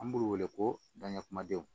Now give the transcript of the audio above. An b'u wele ko daɲɛ kumadenw